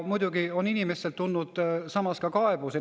Muidugi on inimestelt tulnud ka kaebusi.